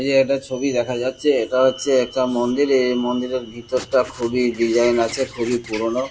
এই যে একটা ছবি দেখা যাচ্ছে এটা হচ্ছে একটা মন্দির। এ মন্দিরের ভেতরটা খুবই ডিজাইন আছে খুবই পুরোনো